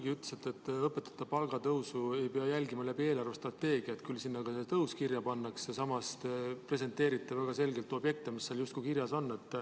Te ütlesite, et õpetajate palgatõusu ei pea jälgima läbi eelarvestrateegia, küll sinna ka see tõus kirja pannakse, samas presenteerite te väga selgelt objekte, mis seal justkui kirjas on.